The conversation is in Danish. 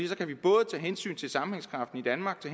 så kan vi både tage hensyn til sammenhængskraften i danmark